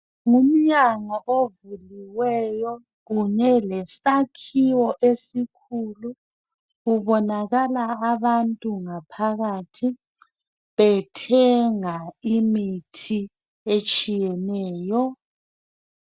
Ngumnyango ovuliweyo kunye lesakhiwo esikhulu, kubonakala abantu ngaphakathi bethenga imithi etshiyeneyo.